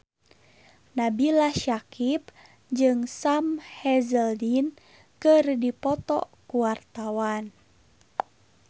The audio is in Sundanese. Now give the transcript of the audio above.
Nabila Syakieb jeung Sam Hazeldine keur dipoto ku wartawan